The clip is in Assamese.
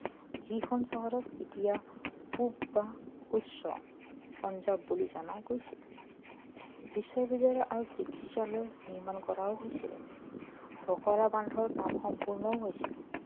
যিখন চহৰক এতিয়া পূব বা উচ্চ পাঞ্জাৱ বুলি জনা গৈছে বিশ্ববিদ্যালয় আৰু চিকিৎসালয় নিৰ্মান কৰাও হৈছে ভাক্ৰা বান্ধৰ কাম সম্পূৰ্ণও হৈছিল